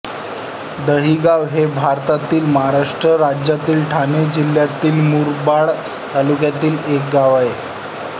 दहीगाव हे भारतातील महाराष्ट्र राज्यातील ठाणे जिल्ह्यातील मुरबाड तालुक्यातील एक गाव आहे